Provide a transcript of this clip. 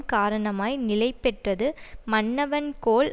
காரணமாய் நிலைபெற்றது மன்னவன் கோல்